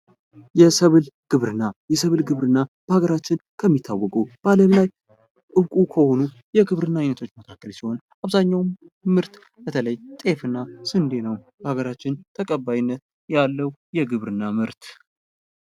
የሰብል ግብርና የሰብል ግብርና በሀገራችን ከሚታወቁ በዓለም ላይ እንቁ ከሆኑ የግብርና አይነቶች መካከል ሲሆን አብዛኛውን ምርት በተለይ ጤፍና ስንዴ በሀገራችን ተቀባይነት ያለው የግብርና ምርት።